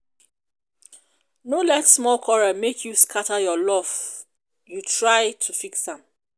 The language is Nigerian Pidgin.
no let small quarrel make you scatter your love you try to fix am.